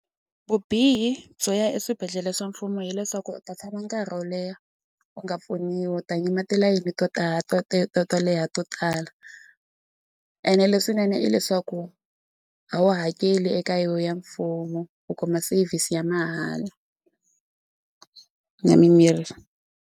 Vubihi byo ya eswibedhlele swa mfumo hileswaku u ta tshama nkarhi wo leha u nga pfuniwi u ta yima tilayini to tala to to to leha to tala ene leswinene i leswaku a wu hakeli eka yo ya mfumo u kuma service ya mahala na mimirhi.